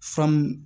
Famu